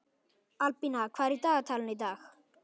Albína, hvað er í dagatalinu í dag?